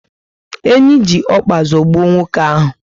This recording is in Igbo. Enyi ji ọkpa zọgbuo nwoke ahu